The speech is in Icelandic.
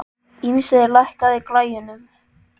Ísmey, lækkaðu í græjunum.